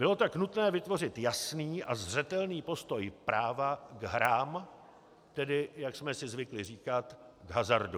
Bylo tak nutné vytvořit jasný a zřetelný postoj práva k hrám, tedy jak jsme si zvykli říkat k hazardu.